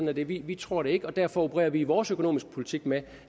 er det vi tror det ikke derfor opererer vi i vores økonomiske politik med